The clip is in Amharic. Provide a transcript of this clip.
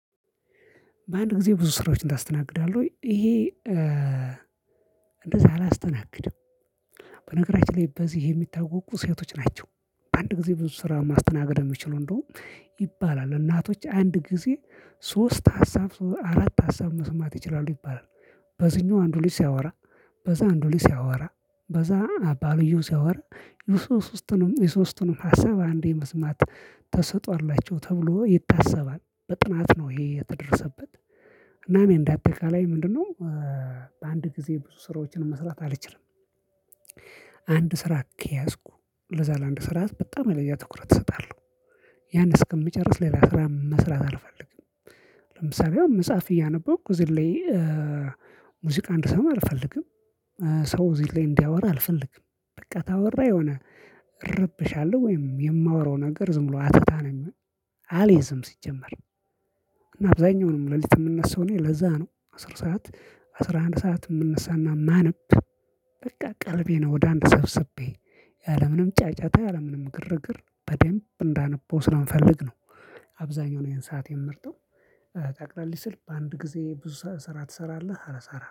በአንድ ጊዜ ብዙ ስራዎችን ታስተናግዳለህ ወይ? ይሄ እንደዛ አላስተናግድም። በነገራችን ላይ በዚህ የሚታወቁ ሴቶች ናቸው። አንድ ጊዜ ብዙ ስራ ማስተናገድ የሚችሉ እንደውም ይባላል። እናቶች አንድ ጊዜ ሶስት ሀሳብ አራት ሀሳብ መስማት ይችላሉ ይባላል። በዚህኛው አንዱ ልጅ ሲያወራ በዛ አንዱ ልጅ ሲያወራ በዛ ባልዬው ሲያወራ። የሶስቱንም ሀሳብ አንዴ መስማት ተሰጥኦ አላቸው ተብሎ ይታሰባል በጥናት ነው ይሄ የተደረሰበት። እናም እንደ አጠቃላይ ምንድነው? በአንድ ጊዜ ብዙ ስራዎችን መስራት አልችልም። አንድ ስራ ከያዝኩ ለዛ ለአንድ ስራ በጣም የተለየ ትኩረት እሰጣለሁ። ያን እስከምጨርስ ሌላ ስራ መስራት አልፈልግም። ለምሳሌ አሁን መጽሐፍ እያነበብኩ ዘልዬ ሙዚቃ እንድሰማ አልፈልግም። ሰው እዚህ ላይ እንዲያወራ አልፈልግም በቃ ታወራ የሆነ እረበሻለሁ። ወይም የማወራው ነገር ዝም ብሎ አተታ ነው። አልይዝም ሲጀመር። እና አብዛኛውንም ሌሊት የምነሳው እኔ ለዛ ነው አስር ሰዓት አስራ አንድ ሰዓት የምንነሳና ማንብ። በቃ ቀልቤን ወደ አንድ ሰብስቤ ያለምንም ጫጫታ ያለምንም ግርግር በደንብ እንዳነብ ስለምፈልግ ነው። አብዛኛው ይሄን ሰዓት የምመርጠው። ጠቅለል ሲል በአንድ ጊዜ ብዙ ስራ ትሰራለህ አል ሰራ